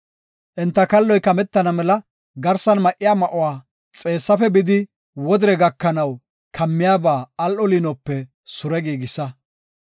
Enta kalloy kametana mela garsan ma7iya ma7uwa xeessafe bidi wodire gakanaw kammiyaba al7o liinope sure giigisa.